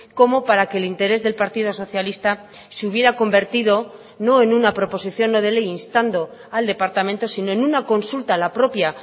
como para que el interés del partido socialista se hubiera convertido no en una proposición no de ley instando al departamento sino en una consulta la propia